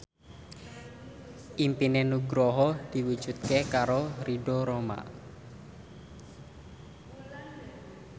impine Nugroho diwujudke karo Ridho Roma